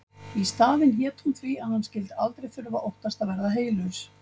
Í staðinn hét hún því að hann skyldi aldrei þurfa að óttast að verða heylaus.